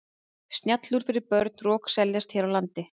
Snjallúr fyrir börn rokseljast hér á landi.